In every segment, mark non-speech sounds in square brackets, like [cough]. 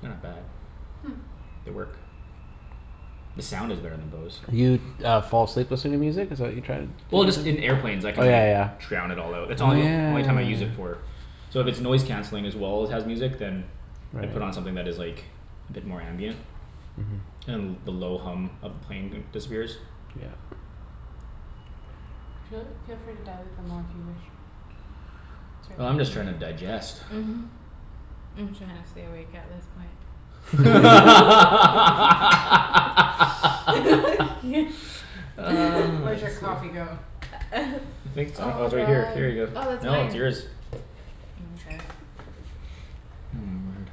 They're not bad. They work. The sound is better than Bose. Well just in airplanes I can like drown it all out. It's all yo- only time I use it for. So if it's noise canceling as well as has music then I put on something that is like a bit more ambient. And the low hum of the plane disappears. Oh I'm just trying to digest. [laughs] [noise] I could sleep. I think it's I kno- oh it's right here here you go no it's yours. [noise] word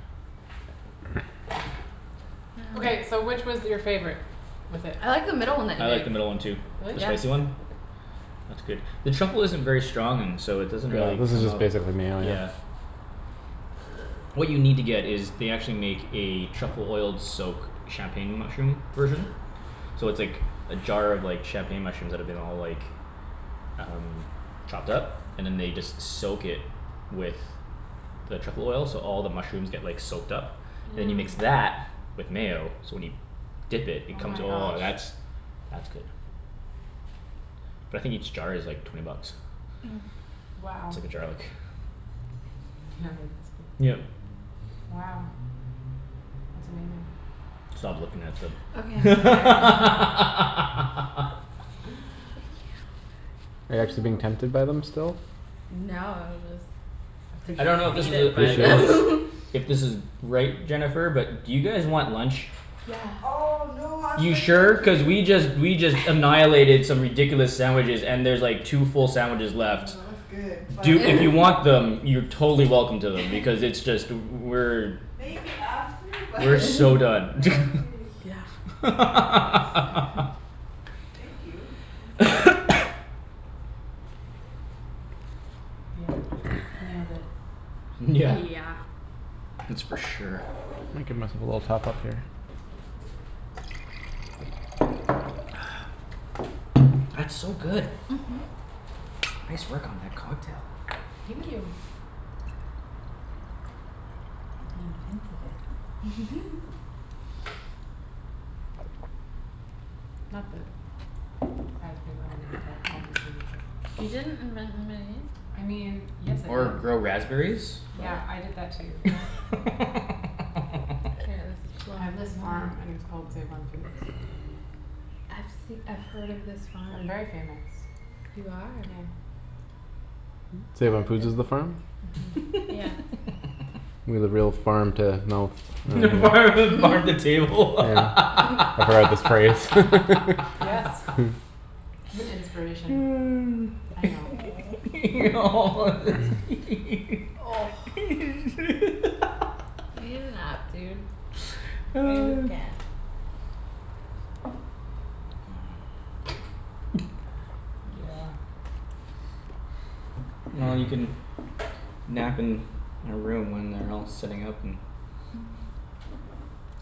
I like the middle one too. The spicy one? It's good. The truffle isn't very strong and so it doesn't really come out. Yeah. What you need to get is they actually make a truffle oiled soak champagne mushroom version. So it's like a jar of champagne mushrooms that have been all like Um chopped up? And then they just soak it with The truffle oil so all the mushrooms get like soaked up And you mix that with mayo so when you Dip it, it comes oh that's that's good But I think each jar is like twenty bucks. It's like a jar like Yep Stop looking at them. [laughs] I don't know if this is a it is If this is right, Jennifer, but do you guys want lunch? You sure? Cuz we just we just annihilated some ridiculous sandwiches and there's like two full sandwiches left. Do if you want them you're totally welcome to them because it's just we're We're so done [laughs] [laughs] [noise] YEah That's for sure. [noise] That's so good. Nice work on that cocktail. Or grow raspberries? [laughs] [laughs] Yeah farm the farm the table [laughs] [noise] [laughs] [noise] Well you can nap in a room when they're all setting up and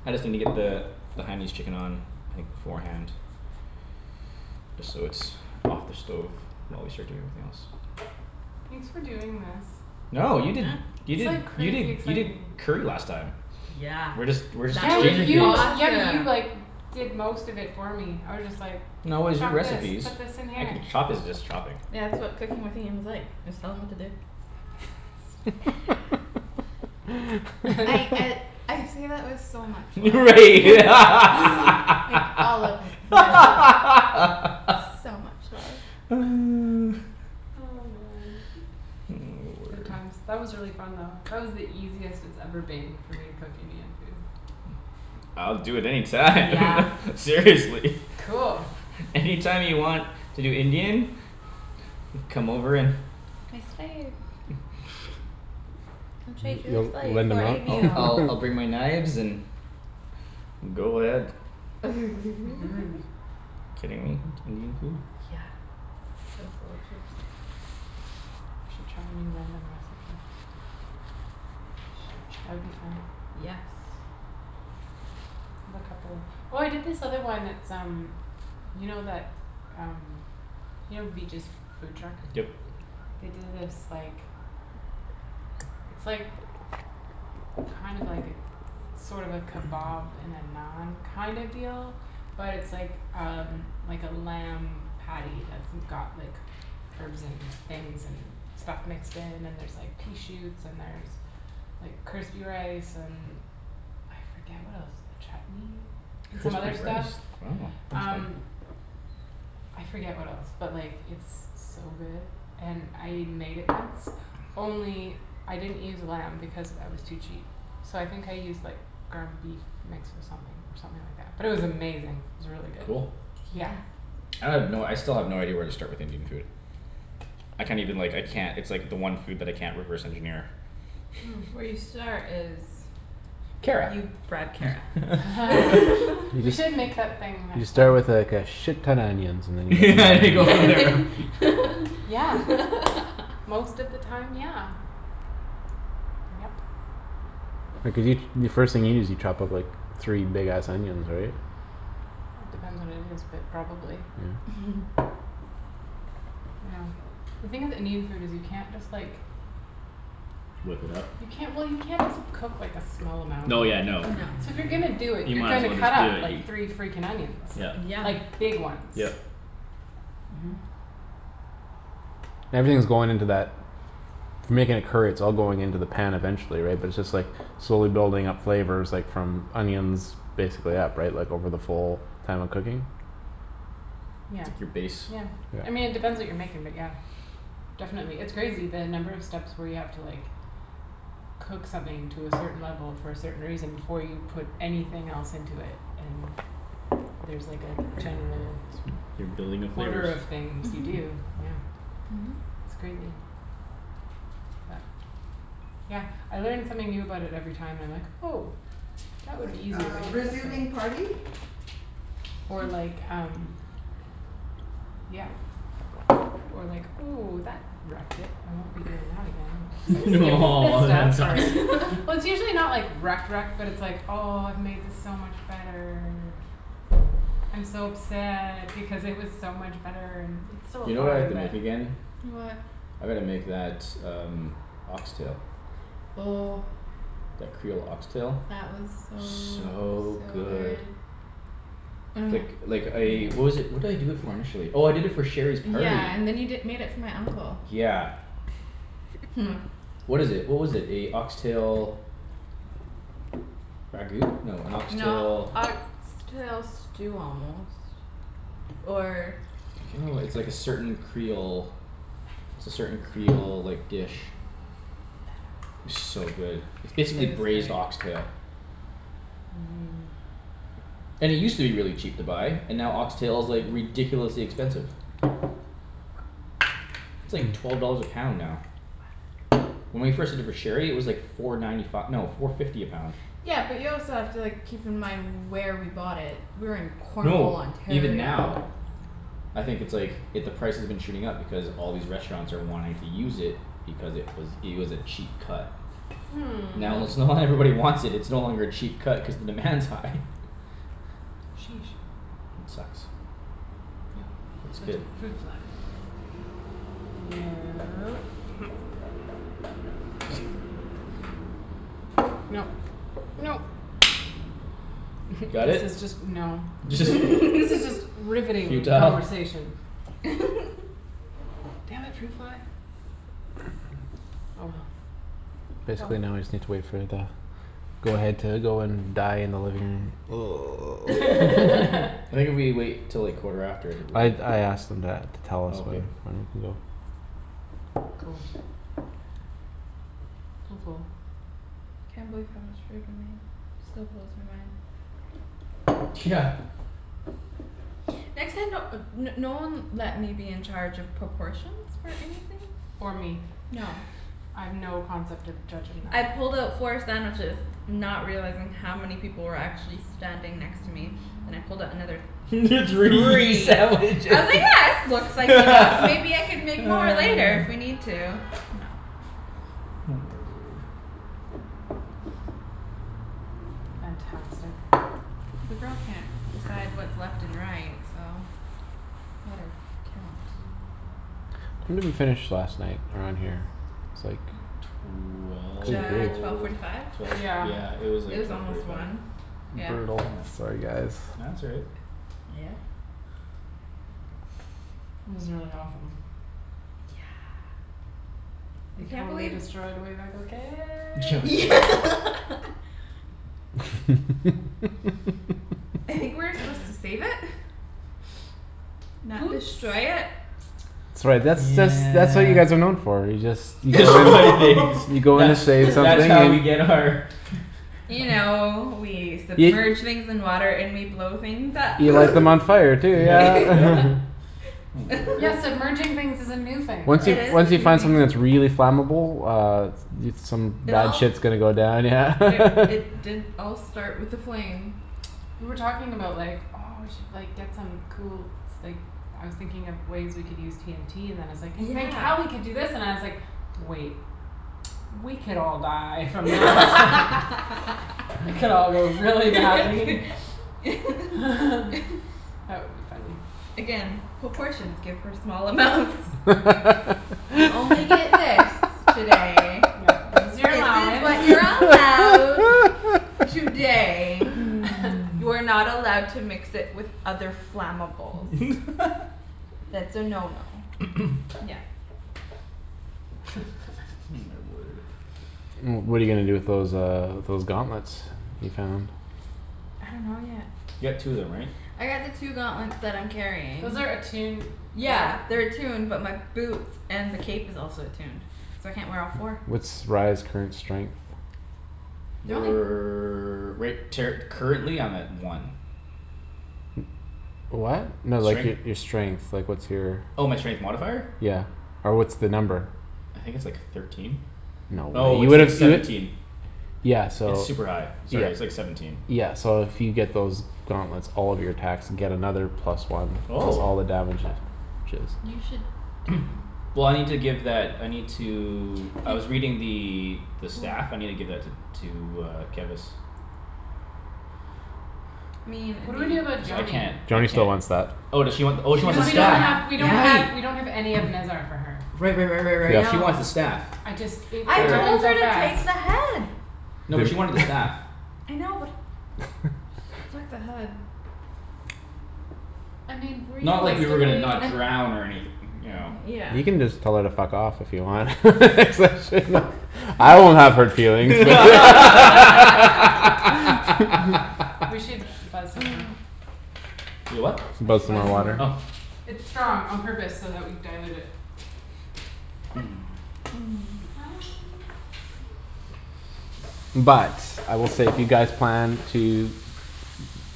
I just needa get the The Hainanese chicken on like beforehand Just so it's off the stove while we start doing everything else. No you did you did you did you did curry last time. We're just we're just exchanging things. No it was your recipes. I can chopping is just chopping. Right [laughs] [noise] [noise] word I'll do it any time [laughs] Seriously. Any time you want to do Indian. Come over and I'll I'll I'll bring my knives and go ahead. Kidding me? Indian food? Yep Crispy rice wow that's fun Cool I have no I still have no idea where to start with Indian food. I can't even like I can't it's like the one food that I can't reverse engineer. Kara. [laughs] [laughs] and go from there. Whip it up? No yeah no You might as well just do it you Yep. Yep. It's like your base. You're building the flavors. Or [noise] like um Yeah Or like, "Ooh that wrecked it I won't be doing that again." It's [laughs] like skips this Oh that stuff sucks. for [laughs] Well it's usually not like wrecked wrecked but it's like, "Oh I've made this so much better" "I'm so upset because it was so much better." It's still You know what I have fine to but make again? What? I gotta make that um ox tail. Oh That creole ox tail? That was so So so good. good Oh Like yeah like I what was it what did i do it for initially? Oh I did it for Sherry's party. Yeah and then you di- made it for my uncle Yeah. [laughs] What is it? What was it? A ox tail Ragout? No a ox tail No ox tail stew almost Or I can't [noise] It's like a certain creole it's a certain creole like dish. So good. It's It basically was good. braised ox tail. [noise] And it used to be really cheap to buy and now ox tail is like ridiculously expensive. It's like twelve dollars a pound now. When we first did it for Sherry it was like four ninety fi- no four fifty a pound. Yeah but you also have to like keep in mind where we bought it. We were in Cornwall, No, even Ontario. now I think it's like i- the price has been shooting up because all these restaurants are wanting to use it Because it was it was a cheap cut. Hmm Now let's now that everybody wants it it's no longer a cheap cut cuz the demand's high. Sheesh It sucks. Yep. It's Left good. in fruit fly. No [noise] Nope nope [laughs] Got This it? is just no [laughs] [laughs] this is just [laughs] riveting Futile? conversation. [laughs] Damn it fruit fly. Oh well. Oh well. Basically now I just need to wait for it to Go ahead to go and die in the living room [laughs] [noise] [laughs] [laughs] I think if we wait 'til like quarter after I think we're I good. I asked them that to tell us Okay. when when we can go Cool Cool cool Can't believe how much food we made. Still blows my mind. Yeah Next time don't uh no one let me be in charge of proportions for anything. Or me No I have no concept of judging I that. pulled out four sandwiches Not realizing how many people were actually standing next to me. Then I pulled out another [laughs] Three three. I sandwiches. was like yeah this looks like [laughs] enough maybe I could make more later if we [noise] need to. No. Oh my word. Fantastic. The girl can't decide what's left and right so let her count. When did we finish last night around here? It's like Could J- be twelve forty five? Twelve twelve Yeah yeah it was It like was twelve forty almost five. one, yeah. Brutal. Nope Sorry guys No that's all right. Uh yeah This is really awesome. Yeah I We can't totally believe destroyed Wave Echo Yeah Cave. like [inaudible] [laughs] I think [laughs] we were supposed to save it Not Oops destroy it. That's right that's that's that's what you guys are known Yeah for, you just You Destroy things. go you go into That's space and that's all how we you [laughs] need get our [laughs] [noise] You know we Y- submerge things in water and we blow things up You light them on fire too Yep yep. yeah [laughs] Oh my word. Yeah [laughs] submerging things is a new thing for Once us. you It is a once you new find something that's thing. really flammable uh Dude some It bad all shit's gonna go down yeah It [laughs] it did all start with a flame. We were talking about like, "Oh we should like get some cool s- like" I was thinking of ways we can use TNT and then it's like "Then Yeah. Cali could do this" and I was like, "Wait" "We could all die from that" [laughs] "It could all go really badly" [laughs] [laughs] That would be funny. Again, proportions good for small amounts. You only get this today. Yeah. This is your This is allowance. what you're allowed today. [noise] [laughs] You are not allowed to mix it with other flammables. That's a no no. [noise] Again. Oh [laughs] my word. Well what're you gonna do with those um those gauntlets you found? I dunno yet. You got two of them right? I got the two gauntlets that I'm carrying. Those are attuned right? Yeah they're attuned but my boots and the cape is also attuned so I can't wear all four. What's Rye's current strength? They're only We're right ter- currently I'm at one. [noise] What? No like Strength? your your strength, like what's your Oh my strength modifier? Yeah or what's the number? I think it's like thirteen? No Oh you it's like would've you seventeen. di- Yeah so It's all super high. right Sorry it's like seventeen. Yeah so if you get those Gauntlets, all of your [inaudible] and get another plus one cuz Oh all the damage is You should take 'em [noise] Well I need to give that I need to I He was reading the the Oh stuff. I need to give that to to uh Kevus. I mean What it'd do we do about be Cuz I Joany? can't I Joany still can't wants that Oh does she want She wants the oh she the wants Cuz the we don't staff. have staff we don't yeah have Right. we don't have any of Nezzar for her. Right right right right right she Yep. wants the No staff. I just it I it All right. told happened her so to fast. take the head. You No, but she did. wanted the staff. I know but [laughs] she took the head I mean Not like we were gonna realistically. not And drown or anyth- you know. Yeah You can just tell her to fuck off if you want [laughs] Cuz I shouldn't've I won't have hurt feelings [laughs] [laughs] We should [laughs] buzz some more. [noise] Y- what? I Buzz should some buzz more some more. Oh water It's strong on purpose so that we dilute it. [noise] [noise] [noise] But I will say if you guys plan to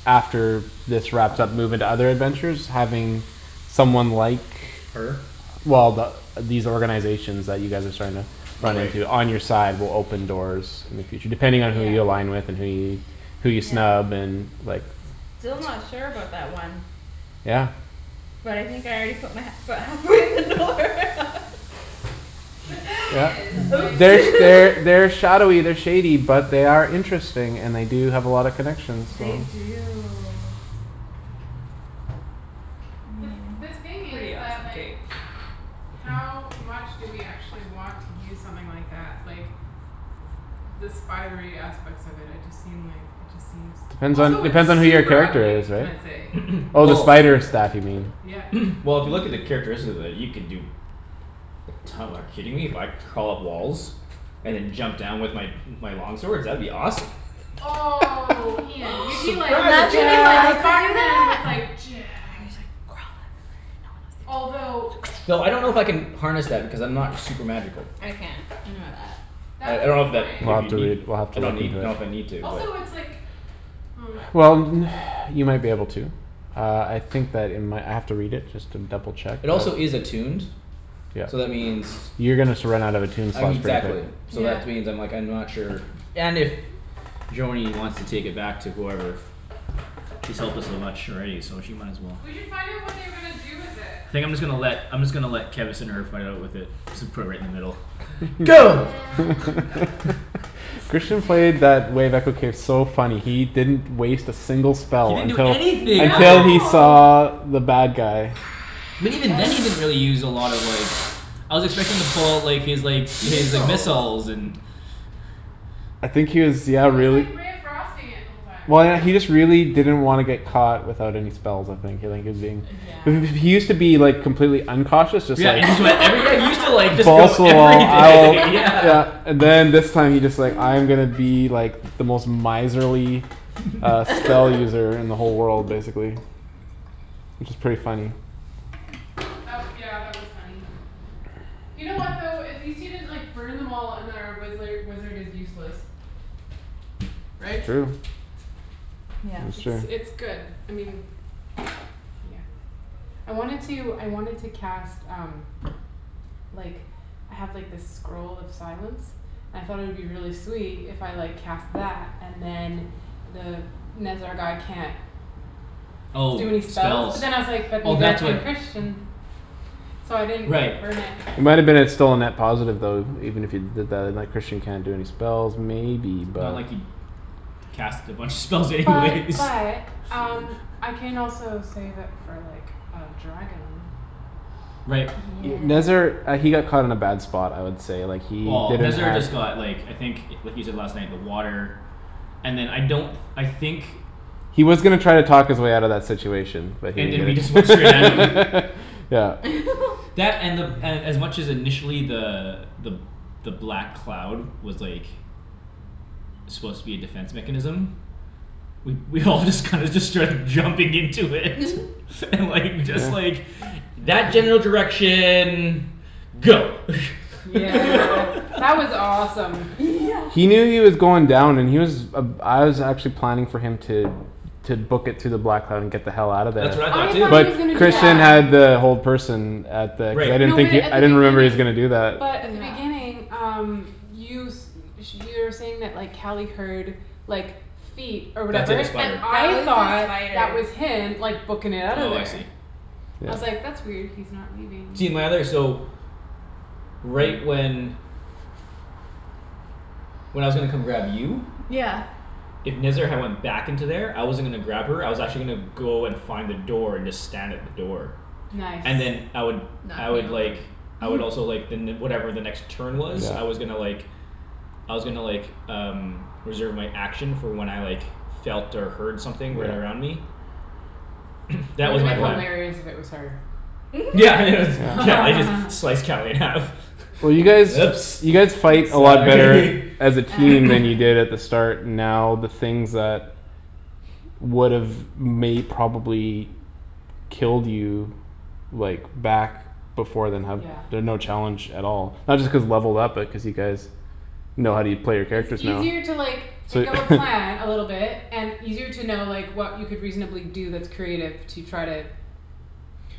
After this wrapped up move into other adventures having Someone like Her? Well th- the these organizations [inaudible] you guys are starting up Oh On you right. to on your side will open doors In the future depending Yeah on who you align with and who you Who you Yeah snub and like still not sure about that one Yeah But I think I already put my he- foot halfway in the door [laughs] The thing Yeah. [laughs] is like Oops There's [laughs] They're shadowy they're shady but they are Interesting and they do have a lot of connections so They do I The th- mean the thing is pretty that awesome like cape. [noise] How [noise] much do we actually want to use something like that? Like The spidery aspects of it I just seem like it just seems Depends on Also it's depends on who your super character ugly is can right? i say? [noise] It's Oh the Well spider super. staff you mean Yeah [noise] Well if you look at the characteristics of it you can do Like to- like kidding me? If I crawl up walls? And then jump down with my my long swords? That would be awesome. [noise] Oh Imagine Ian you'd be if like Surprise I you'd be like could attack. do Spiderman with that like "Jab" I just like crawl up Although and no one else [inaudible] [noise] Thought I don't know if wow I can harness that because I'm not super magical. I can't I know that I That's a I don't good know if that We'll point. if have you to need read we'll have to I don't read need know if I from the need to but Also it's like oh Well n- [noise] you might be able to Uh I think that in my I might have to read it just to double check uh It also is attuned Yep So that means You're gonna sur- run out of a I mean tombstock pretty exactly clue so that Yeah which means like I'm not sure and if Joany wants to take it back to whoever She's helped us so much already so she might as well We should find out what they were gonna do with it. Think I'm just gonna let I'm just gonna let Kevus and Herb fight out with it. Just put it in the middle And Go [laughs] Christian Di- played that Wave Echo case so funny. He didn't Waste a single He spell didn't do until anything that Until he day. No saw the bad guy. But even then he [noise] didn't really use a lot of like I was expecting him to pull out like his like his Missiles missiles and I think he was yeah He was really like ray of frosting it the whole time. Well I know he just really didn't wanna get caught without any spells I think he was being Uh [noise] yeah He used to be like complete uncautious just Yeah like and he like I re- yeah he used to just like go Balls to the wall everything I'll yeah yeah [laughs] [laughs] And then this time he's just like I'm gonna be like The most miserly [laughs] uh spell [laughs] user in the whole world basically. Which is pretty funny. That w- yeah that was funny. You know what though? At least he didn't like burn them all and then wizzler wizard is useless. Right? True. Yeah That's It's true. it's good. I mean Yeah. I wanted to I wanted to cast um like I have like this scroll of silence I thought it would be really sweet if I like cast that and then The Nezzar guy can't Oh Do any spells. spells. But then I was like, "That Oh means that that's what can Christian" So I didn't Right burn it. It might've been a still a net positive even if you did that like Christian can't do any spells maybe but Not like he'd Cast a bunch of spells anyways But but um I can also save it for like a dragon. Right. Nezzar Yeah uh he got caught in a bad spot I would say like he Well didn't Nezzar have just got like I think what he said last night the water And then I don't I think He was gonna try and talk his way outta that situation But he And then we just went straight at him. didn't [laughs] Yeah [laughs] That and the and as much initially the the the black cloud was like Supposed to be a defense mechanism We we all just kinda just started jumping into it [laughs] and like just like [noise] That general direction go [laughs] Yeah [laughs] that was awesome. Yeah He knew he was going down and he was Uh I was actually planning for him to To book it to the black and get the hell outta there That's Oh what I thought I too too. thought he was gonna But do Christian Yeah that. had the whole person At the I Right. didn't No but think he at I the didn't [inaudible] he was beginning gonna do that. but But at the yeah beginning um You s- sh- you were saying that like Cali heard like feet Or That [inaudible] the whatever, and spider. That I was a thought spider. that was him like bookin' it outta Oh I see. there. I was Yeah like, "That's weird, he's not leaving." See my other so Right when When I was gonna come grab you Yeah If Nezzar had went back into there I wasn't gonna grab her I was actually gonna Go and find a door and just stand at the door. Nice And then I would I Knock would like me over. I would [noise] also like the ne- whatever the next turn was Yeah I was gonna like I was gonnna like um Reserve my action for when I like felt or heard something right Right around me. [noise] That That was would've my plan. hilarious if it was her. [laughs] Yeah it was Cali just [laughs] slice Cali in half. Well you [laughs] Oops guys you guys fight [noise] a lot sorry better [laughs] As a team than you [noise] did at the [noise] start And now the things that Would've may probably Killed you Like back before then have Yeah. been no challenge at all. Not just cause levelled up but cuz you guys Know how u- play your It's characters now easier to like So think of a plan [laughs] a little bit And easier to know like what you could reasonably do that's creative to try to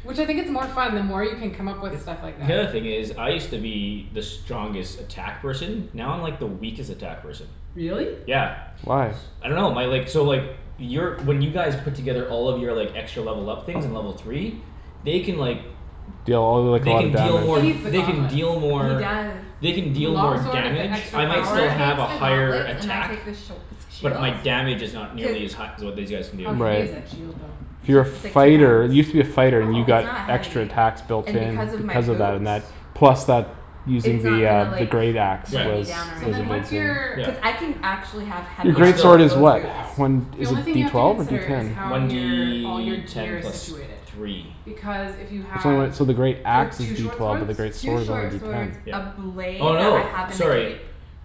Which I think it's more fun the more you can come up with stuff like The that. other thing is I used to be the strongest attack person Now I'm like the weakest attack person. Really? Yeah. Why? I dunno my like so like Your when you guys Put together all of your like extra level up things in level three They can like Deal all like a They lot of can deal He more needs damage. the they can gauntlets. deal He more does. They can With the deal long more sword with the damage extra If I he might takes power the still have a higher gauntlets and I attack take the sh- the shield But my damage is not nearly as Cuz hi- as what these guys can do. How heavy is that Right shield though? It's Your it's like two fighter pounds you used to be a fighter and you Oh It's not got extra heavy. attacks Built And in because of my because of that boots and that plus that Using It's not the gonna uh the like great axe Was Yeah. weigh me was down or So a then anything. big what's your Yeah. thing. Cuz I can actually have Your heavy But great armor still swords with is those what? boots. One The is only it thing you D have to twelve or D consider is ten? how One your all your D ten gear is plus situated. three. Because if you So have when so the great you have axe two is D short twelve but swords the great Two sword is only short D swords, ten Yeah. a blade Oh that no, I have in the sorry. cape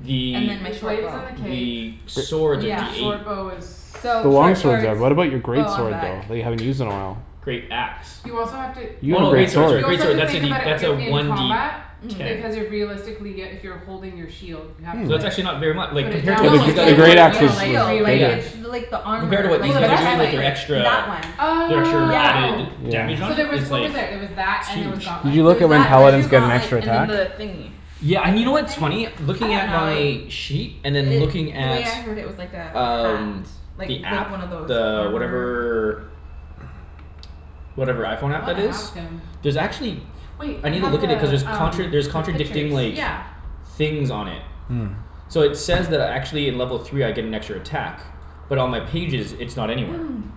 The And then my The short blade bow. is in the cape. the Gr- swords are D Yeah The eight. short bow is The So long short swords are, swords, but what about your bow great on sword back. though? That you haven't used in a while? Great axe. You also have to You yeah have a Oh great okay. great sword sorry sword. You also great have sword to that's a think D about it when that's a you're in one D combat ten. Mhm. Because you're realistically uh if you're holding your shield You have Hmm to It's not like actually not very mu- like put it compared to down what Well No to the these use it's guys g- the the are like great doing other or now. you axe a know is like shield like Yeah. rearrange. it's bigger. The like the Compared to armor what Oh these like the the guys are doing like breastplate they're chestplate extra That one. The extra Yeah. Oh added Yeah. Damage on So it there was it's what was like there? There was that and there was Huge. Did gauntlets, you There look was at when and that there the was paladins two get an gauntlets extra and then attack? the thingy Yeah A and you know what what's thing? funny? I Looking don't at know my Sheet and then looking It the at way I heard it was like a hat. Um Like the like app one of those the armor whatever Whatever iPhone I app wanna that is? ask him There's actually Wait I I needa have look at the it cuz there's um contra- there's the pictures. contradicting like Yeah Things on it. Hmm So it says that I actually in level three I get an extra attack. But on my pages it's not anywhere. [noise]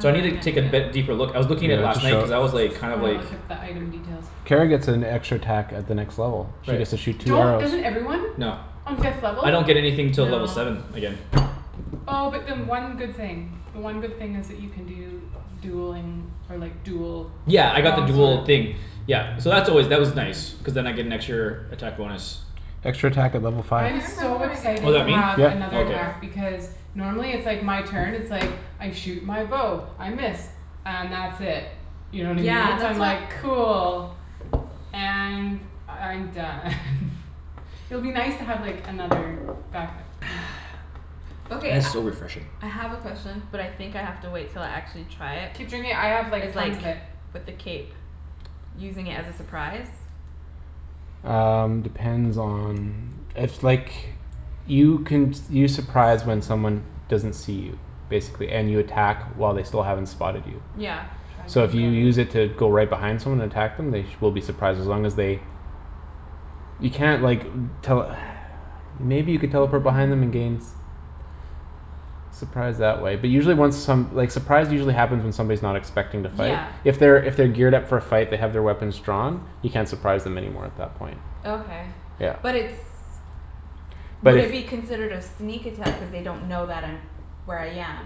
So No I no needa I take can't be- yeah. deeper look. I was looking at it last night cuz I was like kind I of wanna like look at the item details. Kara gets an extra attack at the next level. She Right. gets to shoot two Don't arrows. doesn't everyone? No. On fifth level? I don't get anything till No level seven again. Oh but then one good thing. The one good thing is that you can do dueling or like dual Yeah I got the long sword dual thing Yeah so that's always that was nice. Cuz then I get an extra attack bonus. Extra attack at level I five. I'm remember so what I get Oh excited is to that me? have Yep Oh another okay. attack For because Normally it's like my turn it's like I shoot my bow, I miss. And that's it. You know what I Yeah mean? So I'm that's what like cool. And I'm done [laughs] It'll be nice to have like another back up you know [noise] Okay That is I so refreshing. I have a question but I think I have to wait until I actually try it Keep drinking I have Is like like tons of it. with the cape Using it as a surprise? Um depends on if like You can s- you surprise when someone Small doesn't see you Basically, and you attack while they still haven't spotted you. Yeah So Dragon if you guard use it to go right behind someone and attack them they sh- will be surprised as long as they You can't like tell [noise] Maybe you could teleport behind them and gain [noise] s- Surprise that way but usually when some like surprise usually happens when someone's not expecting to fight. Yeah If they're if they're geared up for a fight they have their weapons drawn You can't surprise them anymore at that point. Okay Yeah but it's But would if it be considered a sneak attack cuz they don't know that I'm where I am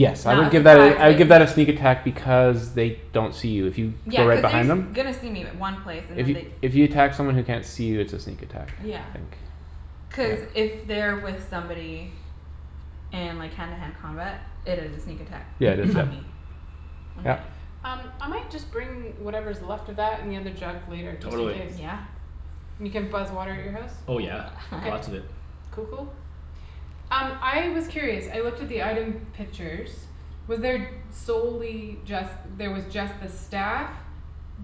It's I not would a give that surprise a I would but give that a a sneak sneak attack because They don't see you if you Yeah go right cuz they're behind s- them. gonna see me in one place and then they If you if you attack someone who can't see you it's a sneak attack I Yeah think. cuz if they're with somebody And like hand to hand combat it is a sneak attack Yeah just on that me. [noise] On my Yep Um I might just bring whatever's left of that and the other jug later, just in Totally. case. Yeah And you can buzz water at your house? Oh yeah, Okay. lots of [laughs] it. Cool cool. Um I was curious, I looked at the item pictures Was there solely just there was just the staff